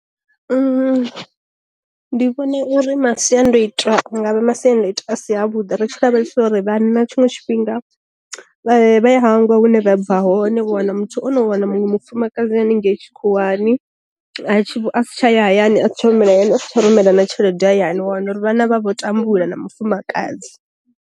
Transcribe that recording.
Ndi vhona uri masiandoitwa anga vha masiandoitwa a si a vhuḓi ri tshi lavhelesa uri vhanna tshiṅwe tshifhinga vha ya vha ya hangwa hune vha bva hone wana muthu ono wana muṅwe mufumakadzi haningei tshikhuwani, asi tsha ya hayani a si tsha humela hayani a si tsha rumela na tshelede hayani wana uri vhana vha vho tambula na mufumakadzi.